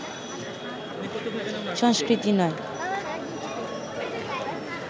সংস্কৃতি নয়